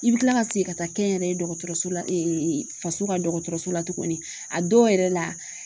I bi kila ka segin ka taa kɛnyɛrɛ ye dɔgɔtɔrɔso la faso ka dɔgɔtɔrɔso la tugunni , a dɔw yɛrɛ la